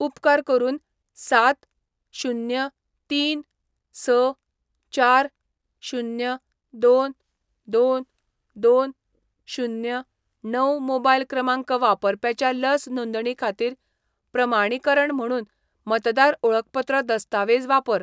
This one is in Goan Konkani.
उपकार करून सात, शुन्य, तीन, स, चार, शुन्य, दोन, दोन, दोन, शुन्य, णव मोबायल क्रमांक वापरप्याच्या लस नोंदणी खातीर प्रमाणीकरण म्हुणून मतदार ओळखपत्र दस्तावेज वापर.